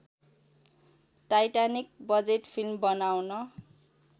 Titanic budget film बनाउन